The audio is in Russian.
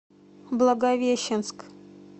благовещенск